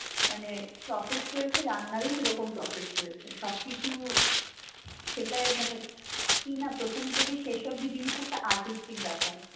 মানে process রয়েছে, রান্নার ও ওরকম process রয়েছে. সবকিছু, সেটাই মানে প্রথম থেকে শেষ অবধি জিনিষটা একটা artistic ব্যাপার.